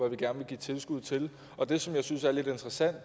vi gerne vil give tilskud til og det som jeg synes er lidt interessant